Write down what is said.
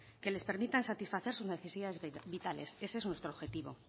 que les permitan satisfacer sus necesidades vitales ese es nuestro objetivo